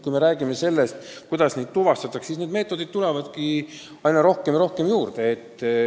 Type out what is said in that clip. Kui me räägime sellest, kuidas neid inimesi tuvastatakse, siis meetodeid tuleb aina rohkem ja rohkem juurde.